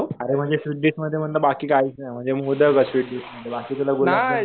अरे म्हणजे sweet dish मध्ये म्हणलं बाकी काहीच नाही.म्हणजे मोदकच स्वीट डिश मध्ये.बाकी कुठले